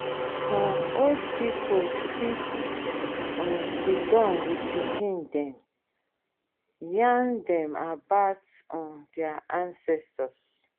um old pipo fit um sidon with pikin dem yarn dem about um their ancestors